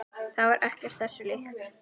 Það var ekkert þessu líkt.